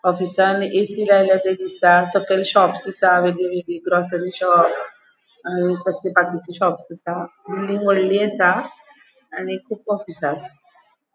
ऑफिसांन ऐ.सी. लायला ते दिसता सकयल शॉप्स असा वेगवेगळे ग्रोस्री शॉप आणि कसले बाकीची शॉप असा बिल्डिंग वोडली असा आणि खूब ऑफीसा आसा.